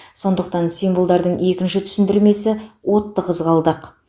сондықтан символдардың екінші түсіндірмесі отты қызғалдақ